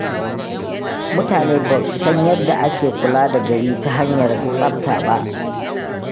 Mutane ba su san yadda ake kula da gari ta hanyar tsafta ba.